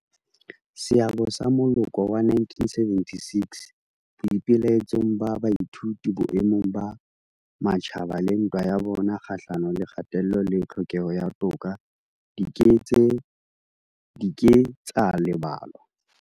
Seabo sa moloko wa 1976 boipelaetsong ba baithuti boemong ba matjhaba le ntwa ya bona kgahlano le kgatello le tlhokeho ya toka di ke ke tsa lebalwa.